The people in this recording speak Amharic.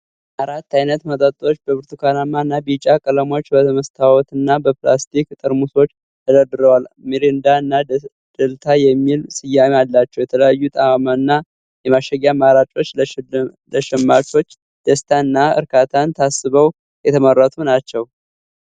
አራት ዓይነት መጠጦች በብርቱካናማ እና ቢጫ ቀለሞች በመስታወትና በፕላስቲክ ጠርሙሶች ተደርድረዋል። ሚሪንዳ እና ደልታ የሚል ስያሜ አላቸው። የተለያየ ጣዕምና የማሸጊያ አማራጮች ለሸማቾች ደስታን እና እርካታን ታስበው የተመረቱ ናቸው።